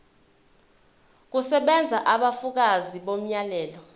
kusebenza ubufakazi bomyalelo